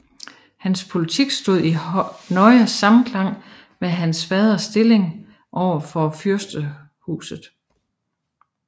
Hans politik stod i nøje samklang med hans faders stilling over for fyrstehuset